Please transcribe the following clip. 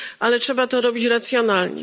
Ale trzeba to robić racjonalnie.